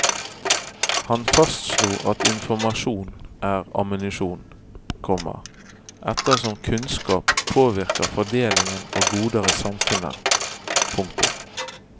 Han fastslo at informasjon er ammunisjon, komma ettersom kunnskap påvirker fordelingen av goder i samfunnet. punktum